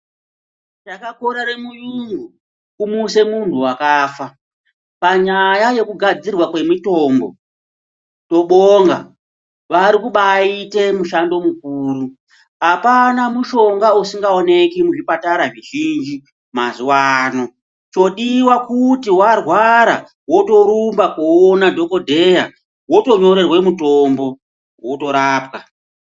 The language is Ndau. Chakakorere muyungu kumuse muntu wakafa. Panyanya yekugadzirwa kwemitombo tobonga. Varikubaite mushando mukuru. Hapana mushonga usingaoneki muzvipatara zvizhinji mazuwano. Chodiwa kuti warwara wotorumba koona dhokodheya wotonyorerwe mutombo, wotorapwa.